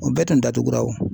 O bɛɛ tun datugura o